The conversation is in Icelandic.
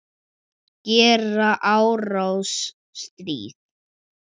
Gera árás- stríða